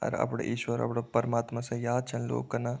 अर अपड़ा इश्वर अपड़ा परमात्मा से याद छन लोग कना।